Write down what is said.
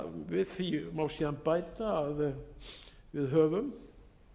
við því má síðan bæta að við höfum